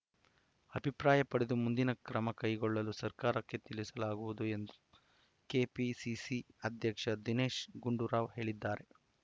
ಅಭಿಪ್ರಾಯ ಪಡೆದು ಮುಂದಿನ ಕ್ರಮ ಕೈಗೊಳ್ಳಲು ಸರ್ಕಾರಕ್ಕೆ ತಿಳಿಸಲಾಗುವುದು ಎಂದು ಕೆಪಿಸಿಸಿ ಅಧ್ಯಕ್ಷ ದಿನೇಶ್‌ ಗುಂಡೂರಾವ್‌ ಹೇಳಿದ್ದಾರೆ